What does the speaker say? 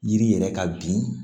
Yiri yɛrɛ ka bin